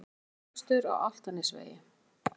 Árekstur á Álftanesvegi